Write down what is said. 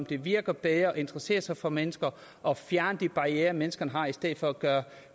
det virker bedre at interessere sig for mennesker og fjerne de barrierer menneskerne har i stedet for at gøre